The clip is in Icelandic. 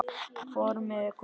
Formið er komið!